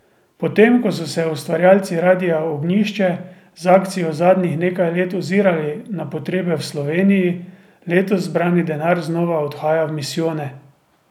Potem ko so se ustvarjalci Radia Ognjišče z akcijo zadnjih nekaj let ozirali na potrebe v Sloveniji, letos zbrani denar znova odhaja v misijone.